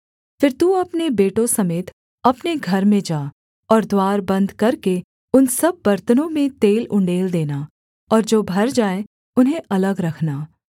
फिर तू अपने बेटों समेत अपने घर में जा और द्वार बन्द करके उन सब बरतनों में तेल उण्डेल देना और जो भर जाए उन्हें अलग रखना